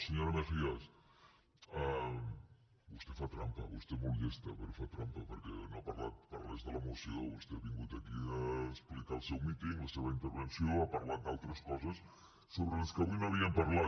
senyora mejías vostè fa trampa vostè és molt llesta però fa trampa perquè no ha parlat per res de la moció vostè ha vingut aquí a explicar el seu míting la seva intervenció ha parlat d’altres coses sobre les quals avui no havíem parlat